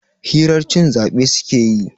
hirar cin zabe suke yi